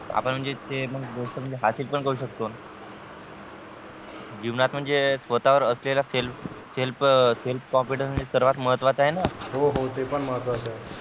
आपण म्हणजे ते मग गोष्ट म्हणजे हासील पण करू शकतो जीवनात म्हणजे स्वतः वर असलेला selfselfself confidence सर्वात महत्वाचा आहे न हो हो ते पण महत्वाचं आहे.